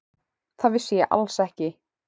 Það vissi ég alls ekki.